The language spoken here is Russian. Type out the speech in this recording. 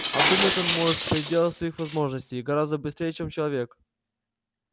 а думать он может в пределах своих возможностей гораздо быстрее чем человек